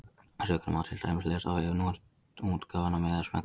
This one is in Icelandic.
Söguna má til dæmis lesa á vef Netútgáfunnar með því að smella hér.